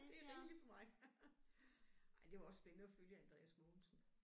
Det er rigeligt for mig. Ej det var også spændende at følge Andreas Mogensen